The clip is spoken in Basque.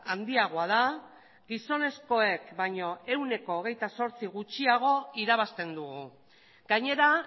handiagoa da gizonezkoek baino ehuneko hogeita zortzi gutxiago irabazten dugu gainera